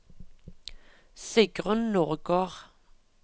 Sigrunn Nordgård